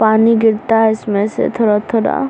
पानी गिरता है इसमें से थोड़ा-थोड़ा।